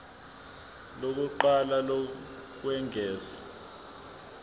lokuqala lokwengeza p